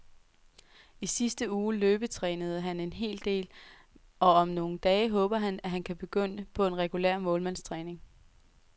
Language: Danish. I sidste uge løbetrænede han en hel del, og om nogle dage håber han, at han kan begynde på regulær målmandstræning.